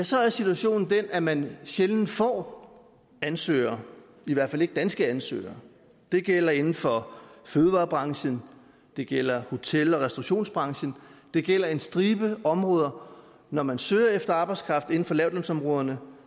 så er situationen den at man sjældent får ansøgere i hvert fald ikke danske ansøgere det gælder inden for fødevarebranchen det gælder hotel og restaurationsbranchen det gælder en stribe områder når man søger efter arbejdskraft inden for lavtlønsområderne